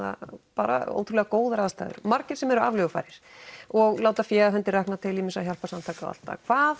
bara ótrúlega góðar aðstæður margir sem eru aflögufærir og láta fé af hendi rakna til ýmissa hjálparsamtaka og allt það hvað